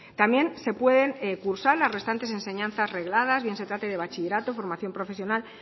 también se pueden cursar las restantes enseñanzas regladas bien se trate de bachillerato formación profesional